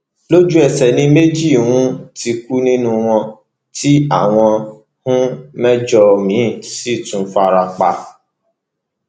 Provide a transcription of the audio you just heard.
lójú ẹsẹ ni méjì um ti kú nínú wọn tí àwọn um mẹjọ míín sì tún farapa